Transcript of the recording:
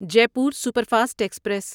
Jaipur superfast express